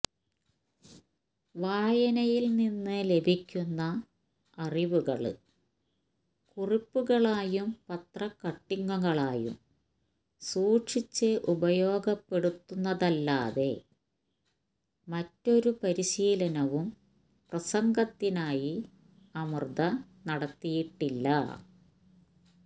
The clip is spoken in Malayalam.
വായനയില് നിന്ന് ലഭിക്കുന്ന അറിവുകള് കുറിപ്പുകളായും പത്രക്കട്ടിങ്ങുകളായും സൂക്ഷിച്ച് ഉപയോഗപ്പെടുത്തുന്നതല്ലാതെ മറ്റൊരു പരിശീലനവും പ്രസംഗത്തിനായി അമൃത നടത്തിയിട്ടില്ല